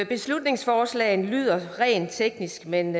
beslutningsforslaget lyder rent teknisk men